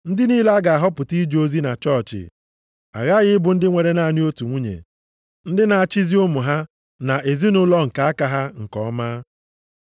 Ndị niile a ga-ahọpụta ije ozi na chọọchị aghaghị ịbụ ndị nwere naanị otu nwunye, ndị na-achịzi ụmụ ha na ezinaụlọ nke aka ha nke ọma.